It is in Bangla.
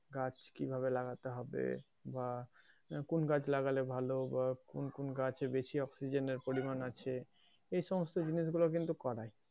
গাছ কীভাবে লাগাতে হবে বা কোন গাছ লাগালে ভালো বা কোন গাছে বেশি oxygen এর পরিমান আছে এই সমস্ত জিনিসগুলো কিন্তু করায়।